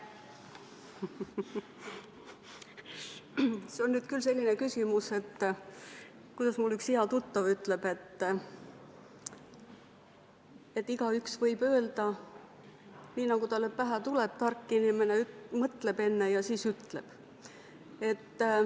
See on nüüd küll selline küsimus, nagu mul üks hea tuttav ütleb, et igaüks võib öelda nii, nagu talle pähe tuleb, aga tark inimene enne mõtleb ja siis ütleb.